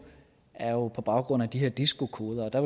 er på baggrund af de her disco koder og